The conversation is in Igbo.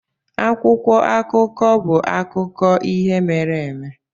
Akwụkwọ akụkọ bụ akụkọ ihe mere eme.